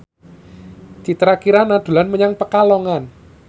Citra Kirana dolan menyang Pekalongan